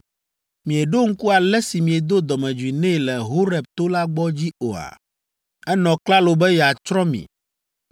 Mieɖo ŋku ale si miedo dɔmedzoe nɛ le Horeb to la gbɔ dzi oa? Enɔ klalo be yeatsrɔ̃ mi.